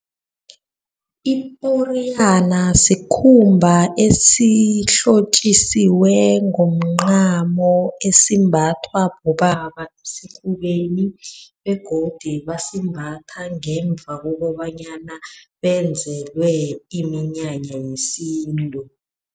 Iporiyana sikhumba esihlotjisiweko ngomncamo, esimbathwa bobaba esifubeni, begodu bayasimbatha ngemva kokobanyana benzelwe iminyanya yesintu.